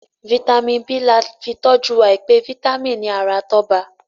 Vitamin B là fí tọjú àìpẹ vitamin ní ara Toba.